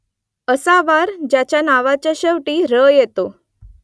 असा वार ज्याच्या नावात शेवटी र येतो